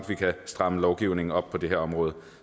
vi kan stramme lovgivningen op på det her område